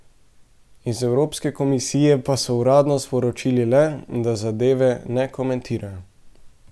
Iz Evropske komisije pa so uradno sporočili le, da zadeve ne komentirajo.